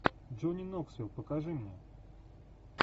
джонни ноксвилл покажи мне